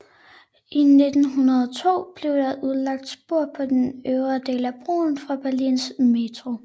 I 1902 blev der udlagt spor på den øvre del af broen for Berlins metro